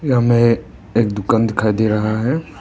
यहां मे एक दुकान दिखाई दे रहा है।